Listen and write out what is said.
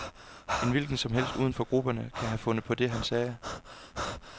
En hvilken som helst uden for grupperne kan have fundet på det, sagde han.